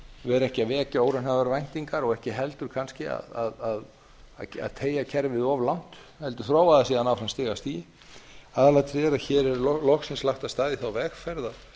vera ekki að vekja óraunhæfar væntingar og ekki heldur kannski að teygja kerfið of langt heldur þróa það síðan áfram stig af stigi aðalatriðið er að hér er loksins lagt af stað í þá vegferð að